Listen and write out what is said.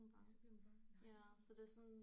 Ja så bliver hun bange nej